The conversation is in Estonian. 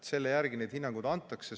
Selle järgi neid hinnanguid antakse.